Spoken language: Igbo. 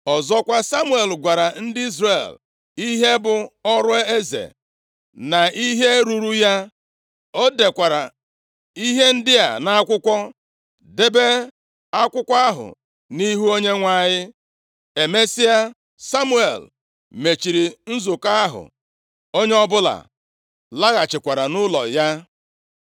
Ọzọkwa, Samuel gwara ndị Izrel ihe bụ ọrụ eze, na ihe ruuru ya. O dekwara ihe ndị a nʼakwụkwọ, debe akwụkwọ ahụ nʼihu Onyenwe anyị. Emesịa, Samuel mechiri nzukọ ahụ. Onye ọbụla laghachikwara nʼụlọ ya.